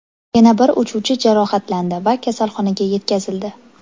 Yana bir uchuvchi jarohatlandi va kasalxonaga yetkazildi.